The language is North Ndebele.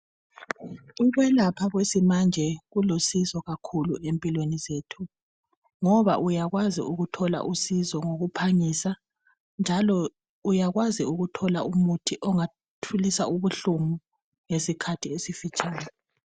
Ukwelapha kwesimanje kulusizo kakhulu empilweni zethu ngoba uyakwazi ukuthola usizo ngokuphangisa njalo uyakwazi ukuthola umuthi ongathulisa ubuhlungu ngesikhathi esifitshane .